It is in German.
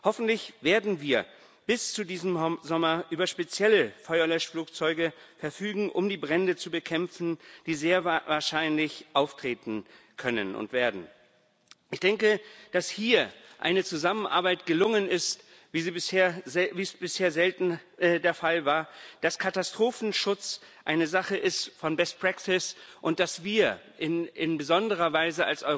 Hoffentlich werden wir bis zu diesem Sommer über spezielle Feuerlöschflugzeuge verfügen, um die Brände zu bekämpfen, die sehr wahrscheinlich auftreten können und werden. Ich denke, dass hier eine Zusammenarbeit gelungen ist, wie es bisher selten der Fall war, dass Katastrophenschutz eine Sache von best practice ist und dass wir als Europa in besonderer Weise